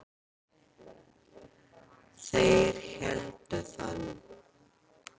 Þeir héldu það nú.